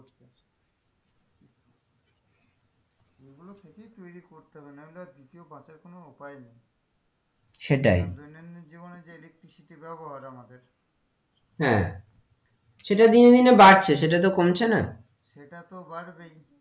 এগুলো থেকেই তৈরি করতে হবে না হলে আর দ্বিতীয় বাঁচার কোনো উপায় নেই সেটাই আর দৈনন্দিন জীবনে যে electricity আমাদের হ্যাঁ সেটা দিনে দিনে বাড়ছে সেটা তো কমছে না সেটা তো বাড়বেই।